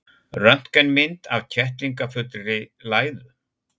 Röntgenmynd af kettlingafullri læðu.